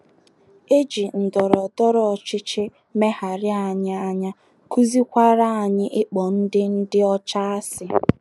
E ji ndọrọ ndọrọ ọchịchị megharịa anyị anya, kụziekwara anyị ịkpọ ndị ndị ọcha asị.